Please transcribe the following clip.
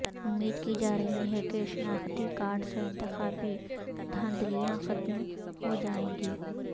امید کی جارہی ہے کہ شناختی کارڈ سے انتخابی دھاندلیاں ختم ہوجائیں گی